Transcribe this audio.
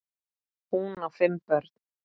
Hún á fimm börn.